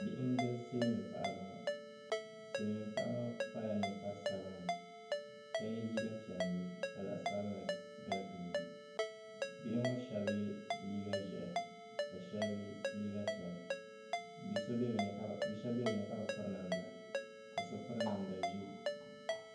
Bihi n gili silmiin paɣa ŋɔ silmiin paɣa ŋɔ kpala ninkpari sabinli ka yɛ liiga piɛlli ka zaɣ sabinli gili gilli bihi ŋɔ shab yɛ liiga ʒiɛhi ka shab yɛ liiga piɛla bi shab bɛ bi ni ka bi piri namda ka so piri namda ʒiɛ